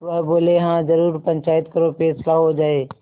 वह बोलेहाँ जरूर पंचायत करो फैसला हो जाय